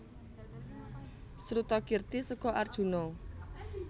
Srutakirti seka Arjuna